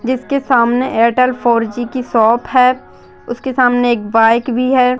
जिसके सामने Airtel four G की शॉप है उसके सामने एक बाइक भी है।